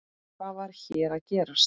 Hvað var hér að gerast?